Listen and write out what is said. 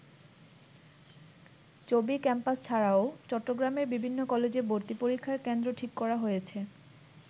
চবি ক্যাম্পাস ছাড়াও চট্টগ্রামের বিভিন্ন কলেজে ভর্তিপরীক্ষার কেন্দ্র ঠিক করা হয়েছে।